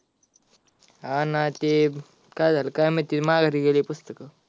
हा ना ते, काय झाला काय माहिती माघारी गेली पुस्तक.